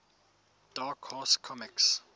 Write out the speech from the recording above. dark horse comics